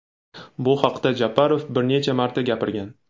Bu haqda Japarov bir necha marta gapirgan.